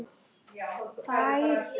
Hver á að laga þetta?